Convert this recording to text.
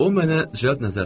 O mənə nəzər saldı.